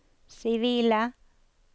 sivile